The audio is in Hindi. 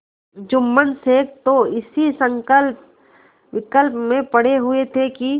जुम्मन शेख तो इसी संकल्पविकल्प में पड़े हुए थे कि